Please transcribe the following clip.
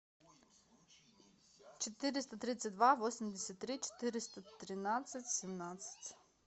четыреста тридцать два восемьдесят три четыреста тринадцать семнадцать